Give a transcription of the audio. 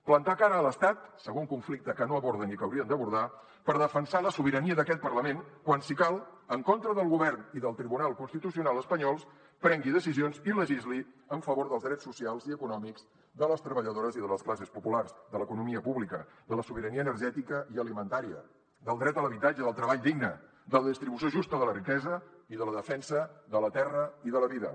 plantar cara a l’estat segon conflicte que no aborden i que haurien d’abordar per defensar la sobirania d’aquest parlament quan si cal en contra del govern i del tribunal constitucional espanyols prengui decisions i legisli en favor dels drets socials i econòmics de les treballadores i de les classes populars de l’economia pública de la sobirania energètica i alimentària del dret a l’habitatge i al treball digne de la distribució justa de la riquesa i de la defensa de la terra i de la vida